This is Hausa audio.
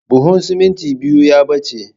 Buhun simintin biyu ya ɓace